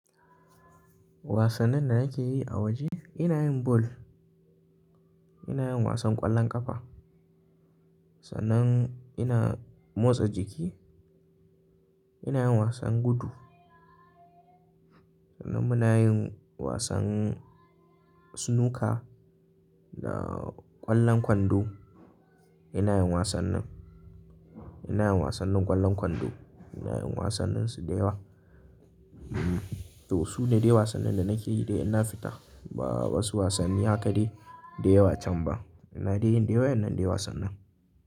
Wasannin da nake yi a waje, ina yin ball, ina yin wasan ƙwallon ƙafa, sannan ina motsa jiki, ina yin wasan gudu. Sannan muna yin wasan snooker da ƙwallon kwando. Wasannin da nake yi a waje, ina yin ball, ina yin wasan ƙwallon ƙafa, sannan ina motsa jiki, ina yin wasan gudu. Ina yin wasannin, ina yin wasannin ƙwallon kwando, ina yin wasannin su da yawa. To su ne dai wasannin da nake yi dai ina fita. Ba wasu wasanni haka dai da yawa can ba.